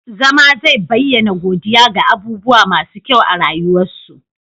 zama zai bayyana godiya ga abubuwa masu kyau a rayuwarsa